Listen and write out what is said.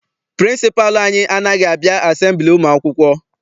Pịrịnsịpalụ anyị anaghị abịa asembili ụmụ akwụkwọ.